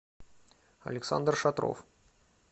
александр шатров